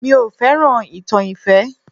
Mi ò fẹ́ràn ìtàn ìfẹ́